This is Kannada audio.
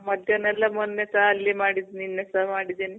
ಆ, ಮಧ್ಯಾಹ್ನ ಎಲ್ಲ ಮೊನ್ನೆ ಸಹ ಅಲ್ಲಿ ಮಾಡಿದಿನಿ, ನಿನ್ನೆ ಸಹ ಮಾಡಿದಿನಿ.